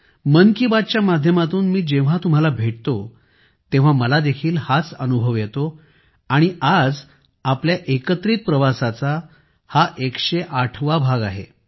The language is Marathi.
मन की बात च्या माध्यमातून मी जेव्हा तुम्हाला भेटतो तेव्हा मला देखील हाच अनुभव येतो आणि आज आपल्या एकत्रित प्रवासाचा हा 108 वा भाग आहे